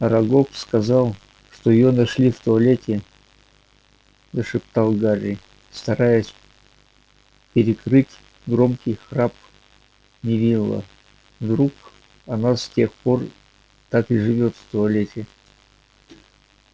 арагог сказал что её нашли в туалете зашептал гарри стараясь перекрыть громкий храп невилла вдруг она с тех пор так и живёт в туалете